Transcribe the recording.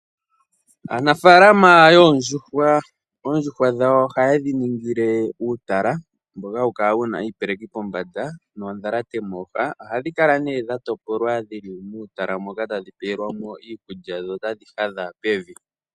Aanafaalama yoondjuhwa, oondjuhwa dhawo oha yedhi ningile uutala mboka hawu kala wuna iipeleki pombanda noondhalate mooha. Ohadhi kala ne dha topolwa dhili muutala moka tadhi pewelwa mo iikulya dho tadhi hadha pevi.